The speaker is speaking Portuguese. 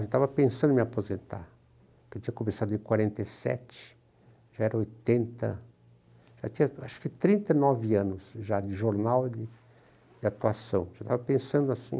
Eu estava pensando em me aposentar, porque eu tinha começado em quarenta e sete, já era oitenta, já tinha, acho que trinta e nove anos já de jornal, de atuação, já estava pensando assim.